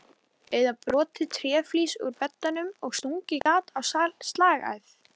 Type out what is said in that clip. Eða brotið tréflís úr beddanum og stungið gat á slagæð?